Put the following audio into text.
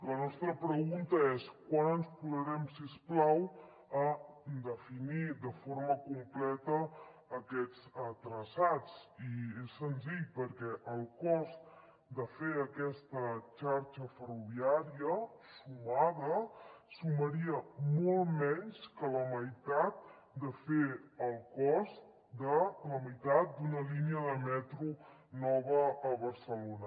la nostra pregunta és quan ens posarem si us plau a definir de forma completa aquests traçats i és senzill perquè el cost de fer aquesta xarxa ferroviària sumada sumaria molt menys que la meitat de fer el cost de la meitat d’una línia de metro nova a barcelona